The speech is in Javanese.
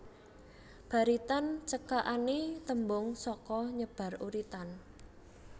Baritan cekakané tembung saka nyebar uritan